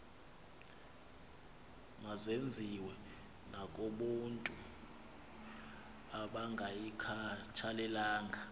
mazenziwe nakobantu abangayikhathalelanga